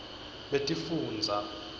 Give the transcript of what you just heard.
betifundza